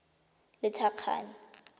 lethakane